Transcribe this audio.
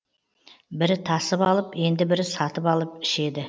бірі тасып алып енді бірі сатып алып ішеді